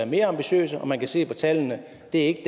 mere ambitiøse og man kan se på tallene at det ikke